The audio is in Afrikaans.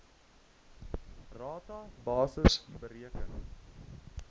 rata basis bereken